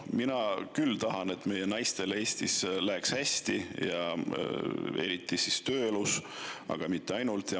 Mina küll tahan, et meie naistel Eestis läheks hästi ja eriti tööelus, aga mitte ainult.